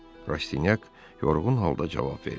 Rastyanyak yorğun halda cavab verdi.